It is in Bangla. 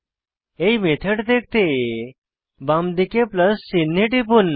এই মেথড দেখতে বামদিকে প্লাস চিনহে টিপুন